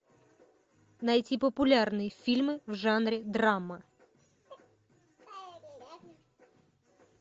найти популярные фильмы в жанре драма